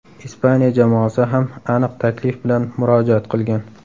Ispaniya jamoasi ham aniq taklif bilan murojaat qilgan.